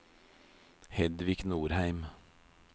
Hedvig Nordheim